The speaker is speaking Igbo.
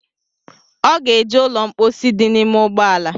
Ọ ga-eje ụlọ mkposi dị n’ime ụgbọala